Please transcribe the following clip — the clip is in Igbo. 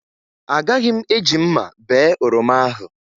Agaghị m eji mma bee oroma ahụ